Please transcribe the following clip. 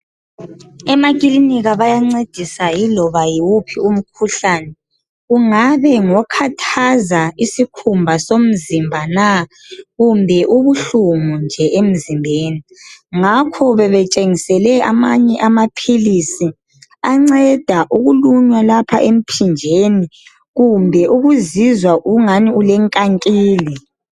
emakilinikha bayancedisa yilobaayiwuphi umkhuhlane ungabe ngikhathaza isikhumba somzimba na kumbe ubuhlungunje emzimbeni ngakho bebetshengisele amanye amaphilisi anceda ukulunywa lapha emphinjeni kumbe ukuzizwa engani ule nkankila